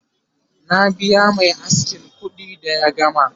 na biya Mai askin kuɗi da ya gama